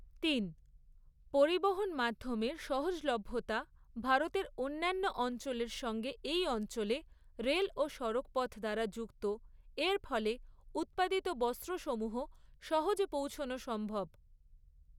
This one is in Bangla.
তিন। পরিবহন মাধ্যমের সহজলভ্যতা ভারতের অন্যান্য অঞ্চলের সঙ্গে এই অঞ্চলে রেল ও সড়কপথ দ্বারা যুক্ত এর ফলে উৎপাদিত বস্ত্ৰসমূহ সহজে পৌঁছোনো সম্ভব।